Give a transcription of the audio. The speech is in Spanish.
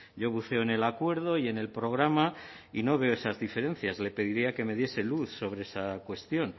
yo buceo en el acuerdo y en el programa y no veo esas diferencias le pediría que me diese luz sobre esa cuestión